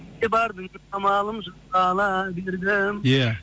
кете бардың амалым жоқ қала бердім ия